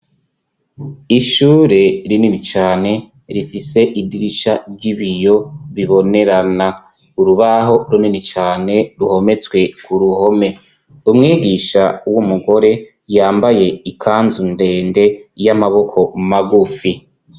Ishure rinini cane, rifise idirisha ry'ibiyo bibonerana ,urubaho runini cane ruhometswe ku ruhome, umwigisha w'umugore yambaye ikanzu ndende y'amaboko magufi.